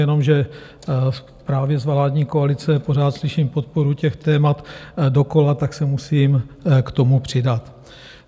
Jenomže právě z vládní koalice pořád slyším podporu těch témat dokola, tak se musím k tomu přidat.